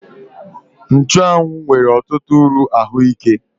Nchụ́anwu nwere ọtụtụ uru ahụike